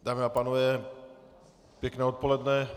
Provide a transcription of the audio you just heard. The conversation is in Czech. Dámy a pánové, pěkné odpoledne.